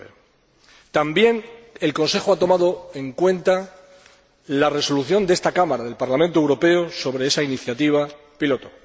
2009. También el Consejo ha tomado en cuenta la Resolución de esta Cámara, del Parlamento Europeo, sobre esa iniciativa piloto.